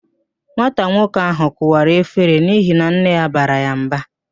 Nwata nwoke ahụ kụwara efere n'ihi na nne ya bara ya mba